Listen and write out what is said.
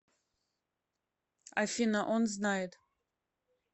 афина он знает